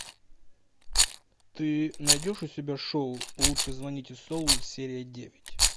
ты найдешь у себя шоу лучше звоните солу серия девять